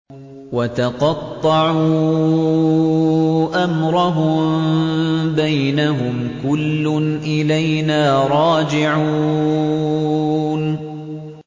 وَتَقَطَّعُوا أَمْرَهُم بَيْنَهُمْ ۖ كُلٌّ إِلَيْنَا رَاجِعُونَ